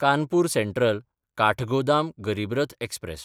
कानपूर सँट्रल–काठगोदाम गरीब रथ एक्सप्रॅस